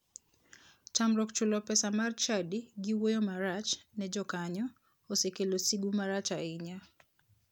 Tamruok chulo pesa mar chadi gi wuoyo marach ne jokanyo osekelo sigu marach ahinya.